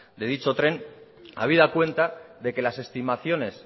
de dicho tren habida cuenta de que las estimaciones